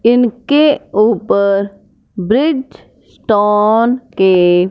इनके ऊपर bridge stone के--